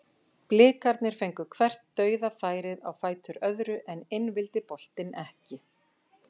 Blikarnir fengu hvert dauðafærið á fætur öðru en inn vildi boltinn ekki.